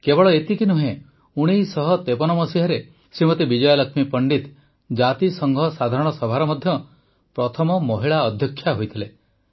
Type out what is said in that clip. କେବଳ ଏତିକି ନୁହେଁ ୧୯୫୩ରେ ଶ୍ରୀମତୀ ବିଜୟାଲକ୍ଷ୍ମୀ ପଣ୍ଡିତ ଜାତିସଂଘ ସାଧାରଣ ସଭାର ମଧ୍ୟ ପ୍ରଥମ ମହିଳା ଅଧ୍ୟକ୍ଷା ହୋଇଥିଲେ